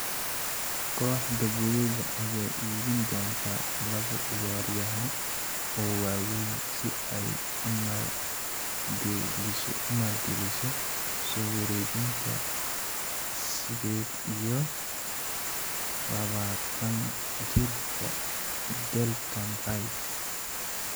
Koxda buluga ayaa iibin doonta labo ciyaaryahan oo waa weyn si ay u maalgeliso soo wareejinta sided iyo labatan jirka Declan Rise.